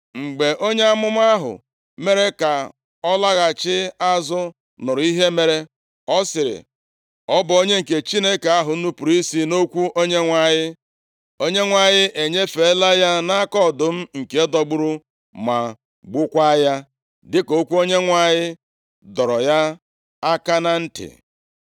Mgbe onye amụma ahụ mere ka ọ laghachi azụ nụrụ ihe mere, ọ sịrị, “Ọ bụ onye nke Chineke ahụ nupuru isi nʼokwu Onyenwe anyị. Onyenwe anyị enyefeela ya nʼaka ọdụm, nke dọgburu ma gbukwaa ya, dịka okwu Onyenwe anyị dọrọ ya aka na ntị.”